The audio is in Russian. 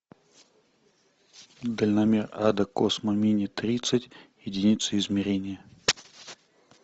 дальномер ада космо мини тридцать единицы измерения